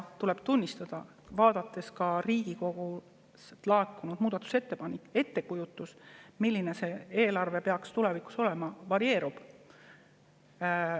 Tuleb tunnistada, vaadates Riigikogust laekunud muudatusettepanekuid, et ettekujutus, milline see eelarve peaks tulevikus olema, varieerub.